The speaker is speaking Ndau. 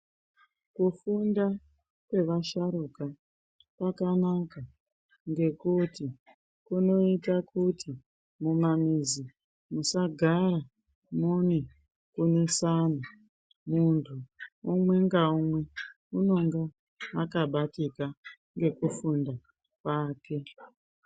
Kufunda kwevasharukwa kwakanaka ngekuti kunoita kuti mumamizi musagara mune kusaha muntu umwe naumwe anenge akabatika nekufunda kwake.